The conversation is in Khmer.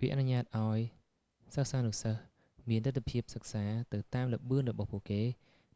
វាអនុញ្ញាតឱ្យសិស្សានុសិស្សមានលទ្ធភាពសិក្សាទៅតាមល្បឿនរបស់ពួកគេ